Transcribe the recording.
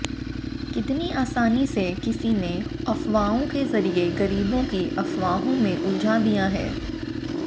कितनी आसानी से किसी ने अफवाहों के ज़रिए ग़रीबों को अफवाहों में उलझा दिया है